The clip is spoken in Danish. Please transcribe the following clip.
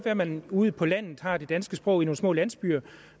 at man ude på landet har det danske sprog i nogle små landsbyer